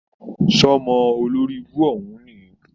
Sọ́mọ olóribú òhún níì?